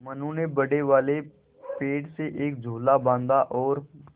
मनु ने बड़े वाले पेड़ से एक झूला बाँधा है और